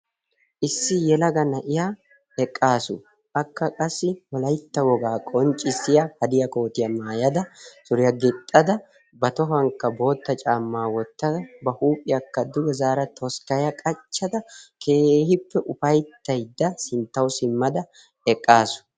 Issi yelaga na'iya eqqaasu. Akka qassi wolaytta wogaa qonccissiya hadiya kootiyaa maayada suriyaa gixxada ba tohuwankka bootta caammaa wottada ba huuphiyaakka duge zaara toskkaya qachchada keehippe ufayttaydda sinttawu simmada eqqaasu.